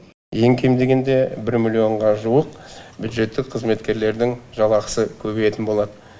ең кем дегенде бір миллионға жуық бюджеттік қызметкерлердің жалақысы көбейетін болады